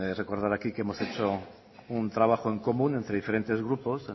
recordar aquí que hemos hecho un trabajo en común entre diferentes grupos